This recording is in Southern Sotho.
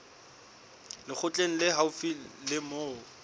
lekgotleng le haufi le moo